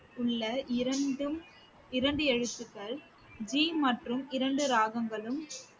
உள்ள இரண்டும் இரண்டு எழுத்துக்கள் ஜீ மற்றும் இரண்டு ராகங்களும்